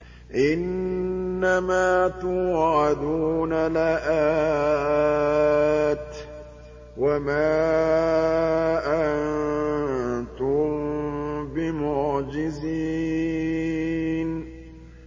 إِنَّ مَا تُوعَدُونَ لَآتٍ ۖ وَمَا أَنتُم بِمُعْجِزِينَ